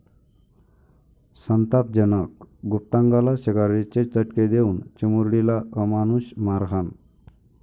संतापजनक!, गुप्तांगाला सिगारेटचे चटके देवून चिमुरडीला अमानुष मारहाण